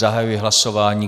Zahajuji hlasování.